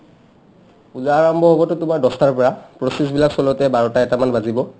পূজাৰ আৰম্ভ হ'বটো তোমাৰ দছটাৰ পৰা process বিলাক চলাওতে বাৰটা এটামান বাজিব ।